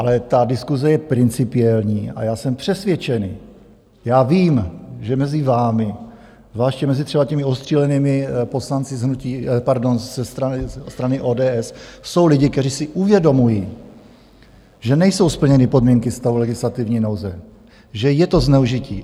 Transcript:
Ale ta diskuse je principiální a já jsem přesvědčený, já vím, že mezi vámi, zvláště mezi třeba těmi ostřílenými poslanci ze strany ODS, jsou lidi, kteří si uvědomují, že nejsou splněny podmínky stavu legislativní nouze, že je to zneužití.